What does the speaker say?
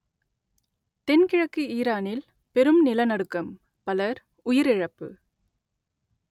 தென்கிழக்கு ஈரானில் பெரும் நிலநடுக்கம் பலர் உயிரிழப்பு